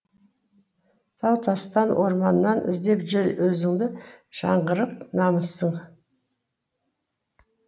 тау тастан орманнан іздеп жүр өзіңді жаңғырық намысың